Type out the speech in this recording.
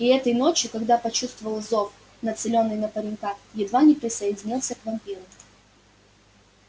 и этой ночью когда почувствовал зов нацелённый на паренька едва не присоединился к вампиру